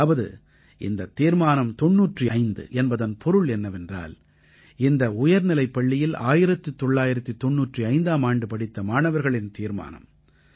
அதாவது இந்தத் தீர்மானம் தொண்ணூற்று ஐந்து என்பதன் பொருள் என்னவென்றால் இந்த உயர்நிலைப் பள்ளியில் 1995ஆம் ஆண்டு படித்த மாணவர்களின் தீர்மானம்